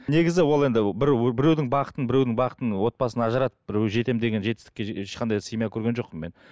негізі ол енді бір біреудің бақытын біреудің бақытын отбасын ажыратып біреу жетемін деген жетістікке ешқандай семья көрген жоқпын мен